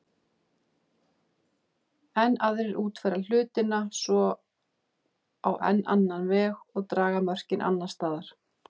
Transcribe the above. Enn aðrir útfæra hlutina svo á enn annan veg og draga mörkin annars staðar.